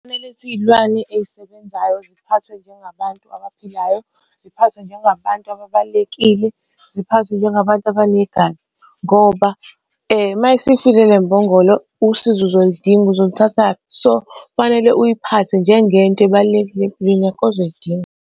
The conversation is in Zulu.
Khona lezi iy'lwane ey'sebenzayo ziphathwe njengabantu abaphilayo, ziphathwe njengabantu ababalulekile, ziphathwe njengabantu ngoba uma isifile le mbongolo usizo uzolidinga, uzolithatha kuphi. So, kufanele uyiphathe njengento ebalulekile empilweni yakho ozoyidinga.